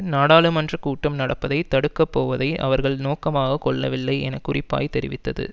நாடாளுமன்ற கூட்டம் நடப்பதை தடுக்கப்போவதை அவர்கள் நோக்கமாக கொள்ளவில்லை என குறிப்பாய் தெரிவித்தது